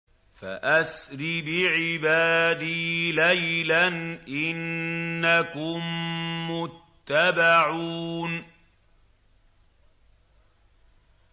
فَأَسْرِ بِعِبَادِي لَيْلًا إِنَّكُم مُّتَّبَعُونَ